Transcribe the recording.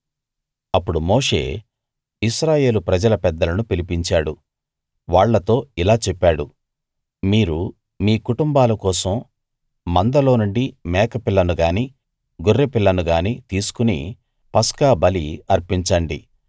అప్పుడు మోషే ఇశ్రాయేలు ప్రజల పెద్దలను పిలిపించాడు వాళ్ళతో ఇలా చెప్పాడు మీరు మీ కుటుంబాల కోసం మందలోనుండి మేకపిల్లను గానీ గొర్రెపిల్లను గానీ తీసుకుని పస్కా బలి అర్పించండి